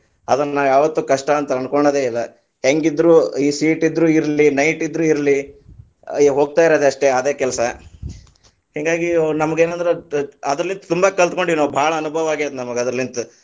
ಅದನ್ಯಾವತ್ತು ಕಷ್ಟ ಅಂತ ಅನಕೋಳೋದೆ ಇಲ್ಲಾ, ಹೆಂಗೀದ್ರು ಈ seat ಇದ್ರು ಇರ್ಲಿ, night ಇದ್ರು ಇರ್ಲಿ, ಹೋಗ್ತಾ ಇರೋದ ಅಷ್ಟೇ ಅದೇ ಕಲಸಾ, ಹಿಂಗಾಗಿ ನಮಗೆನಾದ್ರು ಅದರಲ್ಲಿ ತುಂಬಾ ಕಲ್ತಕೊಂಡಿವ ನಾವ್, ಭಾಳ ಅನುಭವ ಆಗೇದ್‌ ನಮಗ ಅದರಲಿಂತ.